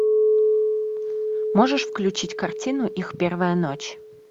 можешь включить картину их первая ночь